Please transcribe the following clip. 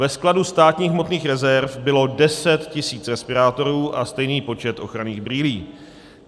Ve skladu státních hmotných rezerv bylo 10 tisíc respirátorů a stejný počet ochranných brýlí.